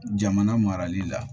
Jamana marali la